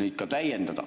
neid ka täiendada.